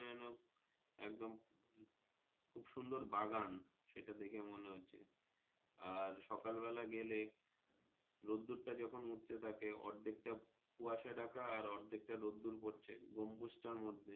খুব সুন্দর বাগান সেটা দেখে মনে হচ্ছে আর সকাল বেলা গালে রোদুর টা যখন উঠতে থাকে অর্ধেক টা কুয়াশা ঢাকা আর অর্ধেক টা রোদুর পড়ছে গম্বুজ টার মর্ধে।